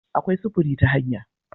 Akwai sufuri ta hanya